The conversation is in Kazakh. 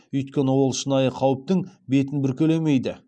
өйткені ол шынайы қауіптің бетін бүркелемейді